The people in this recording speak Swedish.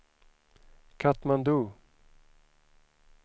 Katmandu